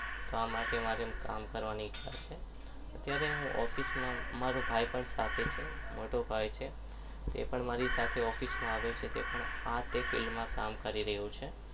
આ માટે મારી કામ કરવાની ઈચ્છા છે અત્યારે હું office માં મારો ભાઈ પણ સાથે છે. મોટો ભાઈ છે તે પણ મારી સાથે office માં આવે છે તે પણ field માં કામ કરી રહ્યો છે.